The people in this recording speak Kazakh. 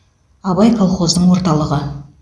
абай колхоздың орталығы